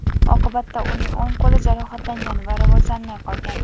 Oqibatda uning o‘ng qo‘li jarohatlangan va rivojlanmay qolgan.